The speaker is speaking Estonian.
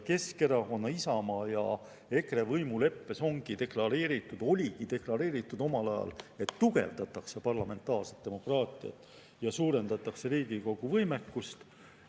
Keskerakonna, Isamaa ja EKRE võimuleppes oligi omal ajal deklareeritud, et tugevdatakse parlamentaarset demokraatiat ja suurendatakse Riigikogu võimekust.